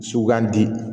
Sugandi